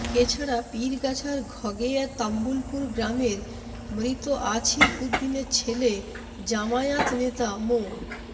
এছাড়া পীরগাছার ঘগেয়া তাম্বুলপুর গ্রামের মৃত আছিম উদ্দিনে ছেলে জামায়াত নেতা মো